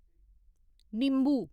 निम्बू